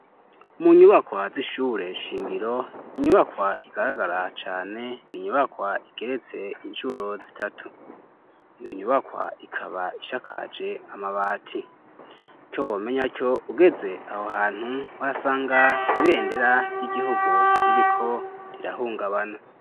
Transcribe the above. Mu nyubakwa z'ishure shingiro inyubakwa igaragara cane ninyubakwa igeretse inshuro zitatu niinyubakwa ikaba ishakaje amabati cyo womenya cyo ugeze aho hantu wasanga ibendera ry'igihugu ririko rirahungabana.